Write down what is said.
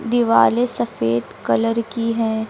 दिवारे सफेद कलर की है।